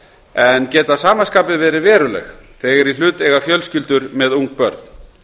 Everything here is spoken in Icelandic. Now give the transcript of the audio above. en geta að sama skapi verið veruleg þegar í hlut eiga fjölskyldur með ung börn